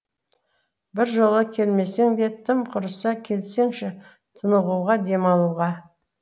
біржола келмесең де тым құрыса келсеңші тынығуға демалуға